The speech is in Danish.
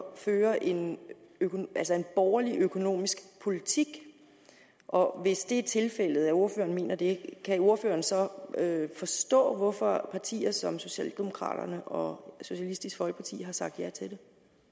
at føre en borgerlig økonomisk politik og hvis det er tilfældet ordføreren mener det kan ordføreren så forstå hvorfor partier som socialdemokraterne og socialistisk folkeparti har sagt ja til